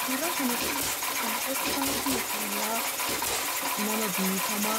Suuraa kana irratti kan nuti arginu, suuraa nama beekamaa,